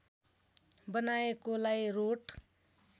बनाएकोलाई wrote